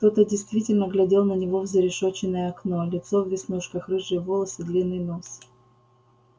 кто-то действительно глядел на него в зарешеченное окно лицо в веснушках рыжие волосы длинный нос